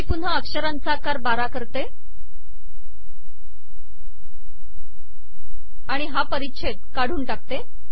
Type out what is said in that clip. मी पुन्हा अक्षरांचा आकार बारा करते आणि हा परिच्छेद काढून टाकते